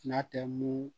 N'a tɛ mun